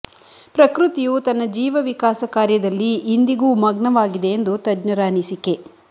ಪ್ರಕೃತಿಯು ತನ್ನ ಜೀವವಿಕಾಸ ಕಾರ್ಯದಲ್ಲಿ ಇಂದಿಗೂ ಮಗ್ನವಾಗಿದೆ ಎಂದು ತಜ್ಞರ ಅನಿಸಿಕೆ